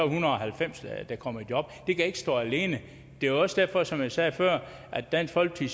hundrede og halvfems der kommer i job det kan ikke stå alene det var også derfor som jeg sagde før at dansk folkeparti